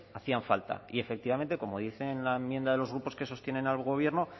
hacían falta y efectivamente como dice la enmienda de los grupos que sostienen al gobierno